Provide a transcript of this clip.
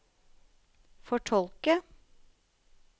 fortolke